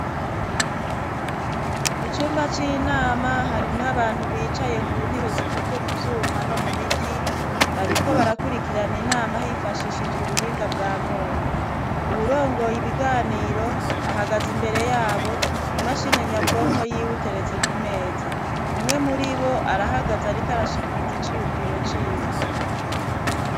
Mu cumba c'inama, harimwo abantu bicaye ku ntebe zikozwe mu vyuma no mu biti, bariko barakurikirana inama hifashishijwe ubuhinga bwa none, uwurongoye ibiganiro ahagaze imbere yabo, imashini nyabwonko yiwe iteretse ku meza, umwe muri bo arahagaze ariko arashikiriza iciyumviro ciwe.